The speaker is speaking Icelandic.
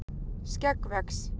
skegg vex